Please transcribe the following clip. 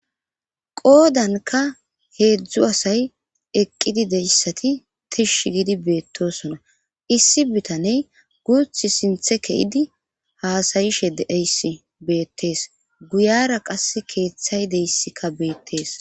qoodanka heedzdzu asay eqqidi deyssati tish gidi beettosona issi bitaney guth sinthe keyidi haasayishe deeyss beettees guyara qas keeththay deyssika beettees